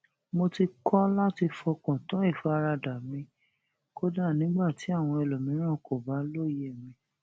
mo ti kọ láti fọkàn tán ìfaradà mi kódà nígbà tí àwọn ẹlòmíràn kò bá lóye mi